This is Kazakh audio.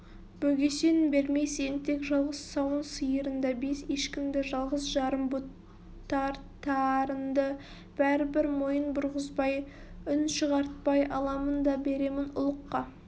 бөгесен бермес еңтек жалғыз сауын сиырынды бес ешкінді жалғыз-жарым бұтартарынды бәрібір мойын бұрғызбай үн шығартпай аламын да беремін ұлыққа